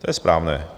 To je správné.